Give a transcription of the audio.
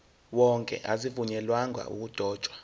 wonke azivunyelwanga ukudotshwa